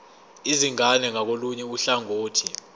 izingane ngakolunye uhlangothi